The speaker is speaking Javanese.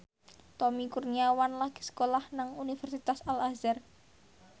Tommy Kurniawan lagi sekolah nang Universitas Al Azhar